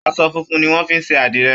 Aṣọ funfun nì wọn fí ṣe àdirẹ.